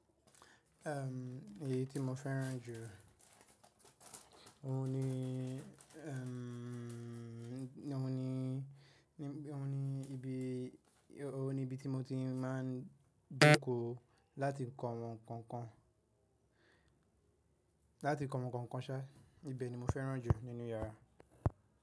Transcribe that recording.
Èyí tí mo fẹ́ràn jù. Ohun ni, ohun ni, ohun ni ibi, ohun ni ibi tí mo ti má ń dínkù láti kọ àwọn nkankan, láti kọ àwọn nkankan ṣá. Ibẹ̀ ni mo fẹ́ràn jù nínú yàrá.